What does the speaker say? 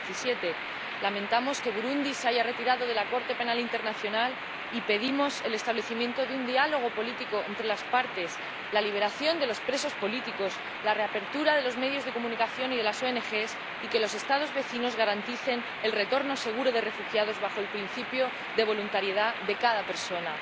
2017. Lamentamos que Burundi se haya retirado de la Corte Penal Internacional y pedimos el establecimiento de un diálogo político entre las partes, la liberación de los presos políticos, la reapertura de los medios de comunicación y de las oenegés y que los Estados vecinos garanticen el retorno seguro de refugiados bajo el principio de voluntariedad de cada persona.